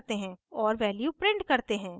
और value print करते हैं